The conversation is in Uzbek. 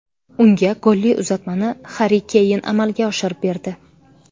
Unga golli uzatmani Harri Keyn amalga oshirib berdi.